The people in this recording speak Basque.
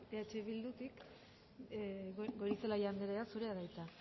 eh bildutik goirizelaia andrea zurea da hitza